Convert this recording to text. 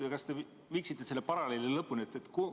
Kas te viiksite selle paralleeli lõpuni?